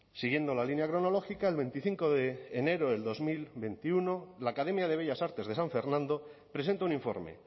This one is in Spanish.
siguiendo la línea cronológica el veinticinco de enero de dos mil veintiuno la academia de bellas artes de san fernando presenta un informe